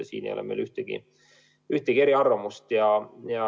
Selles osas meil ei ole eriarvamusi.